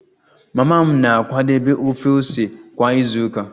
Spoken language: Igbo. Mama m na-akwadebe ofe ose kwa izu ụka